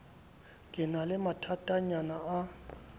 ke na le mathatanyana a